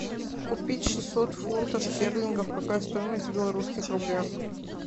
купить шестьсот фунтов стерлингов какая стоимость в белорусских рублях